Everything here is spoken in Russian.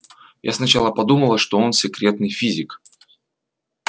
я сначала подумала что он секретный физик